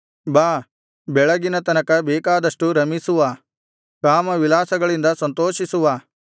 ಬಾ ಬೆಳಗಿನ ತನಕ ಬೇಕಾದಷ್ಟು ರಮಿಸುವ ಕಾಮವಿಲಾಸಗಳಿಂದ ಸಂತೋಷಿಸುವ